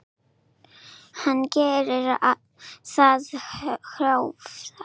Hvað gerir það Hjörvar?